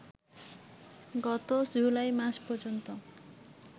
গত জুলাই মাস পর্যন্ত